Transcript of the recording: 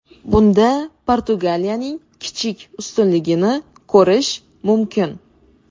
Bunda Portugaliyaning kichik ustunligini ko‘rish mumkin.